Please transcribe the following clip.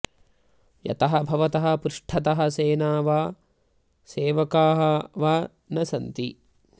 यतः भवतः पृष्ठतः सेना वा सेवकाः वा न सन्ति